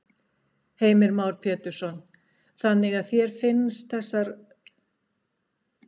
Heimir Már Pétursson: Þannig að þér finnst þetta ótrúverðugur málflutningur?